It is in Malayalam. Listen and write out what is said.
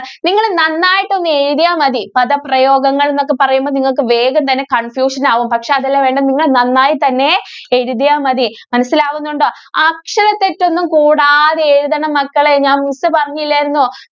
നിങ്ങള് നന്നായിട്ടൊന്നെഴുതിയാ മതി. പദപ്രയോഗങ്ങള്‍ എന്നൊക്കെ പറയുമ്പോ നിങ്ങള്‍ക്ക് വേഗം തന്നെ confusion ആവും. പക്ഷേ, അതല്ല വേണ്ടേ നിങ്ങള്‍ നന്നായി തന്നെ എഴുതിയാ മതി. മനസ്സിലാവുന്നുണ്ടോ? അക്ഷരതെറ്റൊന്നും കൂടാതെ എഴുതണം മക്കളേ. ഞാന്‍ miss പറഞ്ഞില്ലാരുന്നോ?